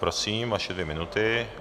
Prosím, vaše dvě minuty.